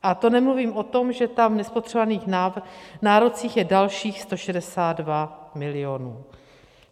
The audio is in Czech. A to nemluvím o tom, že tam v nespotřebovaných nárocích je dalších 162 milionů.